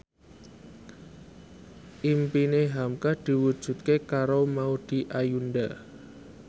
impine hamka diwujudke karo Maudy Ayunda